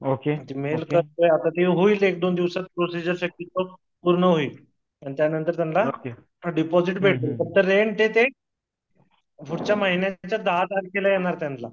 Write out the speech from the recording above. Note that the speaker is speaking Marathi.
ओके मेल करतो ते होईल एक दोन दिवसात प्रोसिजर पूर्ण होईल त्यानंतर त्यांना डीपाजीट भेटलं रेंट आहे ते पुढच्या महिन्यात दहा तारखेला येणार त्यांला